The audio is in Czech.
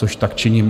Což tak činím.